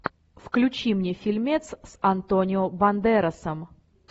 включи мне фильмец с антонио бандерасом